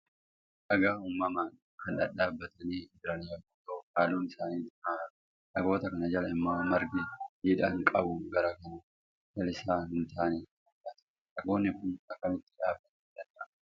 Dhagaa uumamaa kan dhadhaabbatanii jiran yommuu ta'u, halluun isaanii diimaa fakkata. Dhagoota kana jala immoo margi jiidhina qabu garuu kan lalisaa hin taane ni mul'atu. Dhagoonni kun akkamitti dhaabbachuu danda'an?